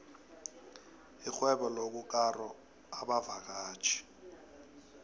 lixhwebolokukaro abavakatjhi